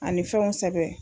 A ni fɛnw sɛbɛn.